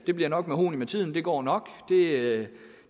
det bliver nok mahogni med tiden det går nok det